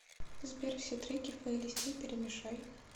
сбер все треки в плейлисте перемешай